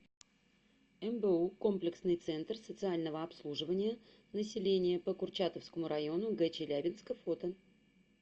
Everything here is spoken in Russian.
мбу комплексный центр социального обслуживания населения по курчатовскому району гчелябинска фото